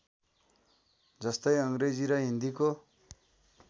जस्तै अङ्ग्रेजी र हिन्दीको